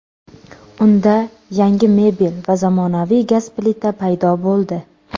Unda yangi mebel va zamonaviy gaz plita paydo bo‘ldi.